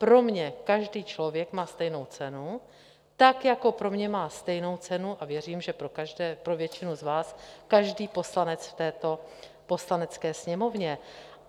Pro mě každý člověk má stejnou cenu, tak jako pro mě má stejnou cenu - a věřím, že pro většinu z vás - každý poslanec v této Poslanecké sněmovně.